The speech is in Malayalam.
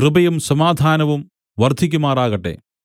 കൃപയും സമാധാനവും വർദ്ധിക്കുമാറാകട്ടെ